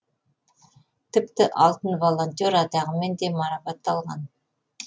тіпті алтын волонтер атағымен де марапатталған